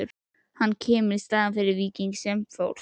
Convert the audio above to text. Hann kemur í staðinn fyrir Víking sem fórst.